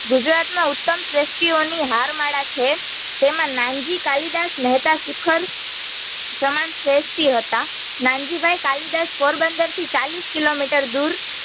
ગુજરાતમાં ઉત્તમ શ્રેષટીયોંની હારમાળા છે, તેમાં નાનજી કાલિદાસ મેહતા શિખર સમાન શ્રેષટી હતા. નનજીભાઈ કાલિદાસ પોરબંદરથી ચાલીસ કિલોમીટર દૂર